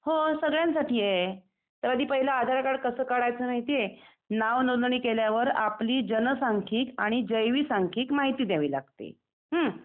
हो सगळ्यांसाठी आहे. त्याआधी पहिले आधार कार्ड कसं काढायचं माहिती आहे? नाव नोंदणी केल्यावर आपली जनसांख्यिक आणि जैवीसांखिक माहिती द्यावी लागते . हम्म .